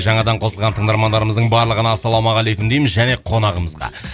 жаңадан қосылған тыңдармандарымыздың барлығына ассалаумағалейкум дейміз және қонағымызға